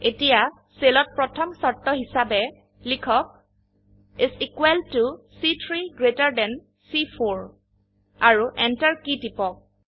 এতিয়া সেলত প্ৰথম শৰ্ত হিসাবে লিখক ইচ ইকোৱেল ত চি3 গ্ৰেটাৰ থান চি4 আৰু এন্টাৰ কী টিপক